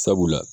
Sabula